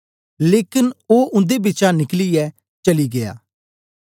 लेकन ओ उन्दे बिचा निकलियै चली गीया